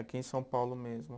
Aqui em São Paulo mesmo.